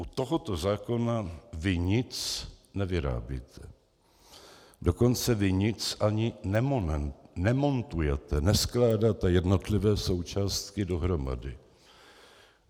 U tohoto zákona vy nic nevyrábíte, dokonce vy nic ani nemontujete, neskládáte jednotlivé součástky dohromady.